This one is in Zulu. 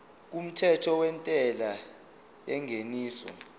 kumthetho wentela yengeniso